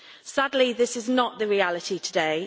Sadly, this is not the reality today.